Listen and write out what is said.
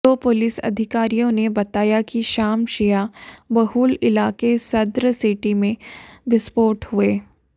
दो पुलिस अधिकारियों ने बताया कि शाम शिया बहुल इलाके सद्र सिटी में विस्फोट हुए